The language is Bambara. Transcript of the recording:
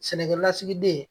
Sɛnɛkɛlasigiden